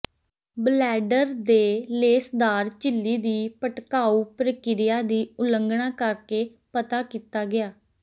bladder ਦੇ ਲੇਸਦਾਰ ਝਿੱਲੀ ਦੀ ਭੜਕਾਊ ਪ੍ਰਕਿਰਿਆ ਦੀ ਉਲੰਘਣਾ ਕਰਕੇ ਪਤਾ ਕੀਤਾ ਗਿਆ